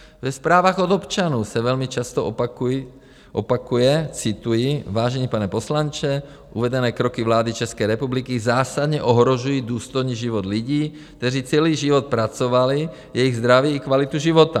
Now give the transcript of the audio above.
Ve zprávách od občanů se velmi často opakuje - cituji: "Vážený pane poslanče, uvedené kroky vlády České republiky zásadně ohrožují důstojný život lidí, kteří celý život pracovali, jejich zdraví i kvalitu života.